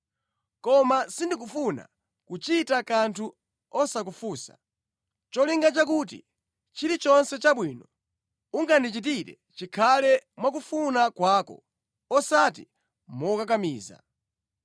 Koma sindikufuna kuchita kanthu osakufunsa, nʼcholinga chakuti chilichonse chabwino ungandichitire chikhale mwakufuna kwako osati mokakamiza.